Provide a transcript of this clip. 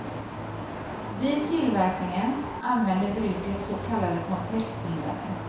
Vid tillverkningen använder bruket så kallade komplexbindare.